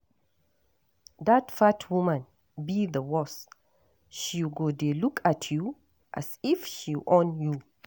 Dat fat woman be the worse, she go dey look at you as if she own you.